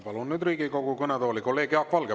Palun nüüd Riigikogu kõnetooli kolleeg Jaak Valge.